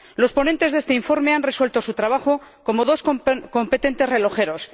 Los ponentes de este informe han resuelto su trabajo como dos competentes relojeros.